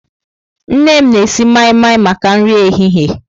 Nne m na-esi mai-mai maka nri ehihie.